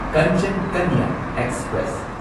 Kanchan Kanya express